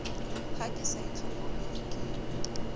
ha ke sa itlhokomele ke